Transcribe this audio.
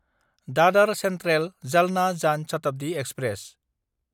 दादार सेन्ट्रेल–जालना जान शताब्दि एक्सप्रेस